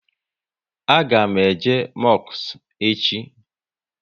A ga m eje mosku echi